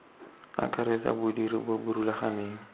akaretsa bodiri bo bo rulaganeng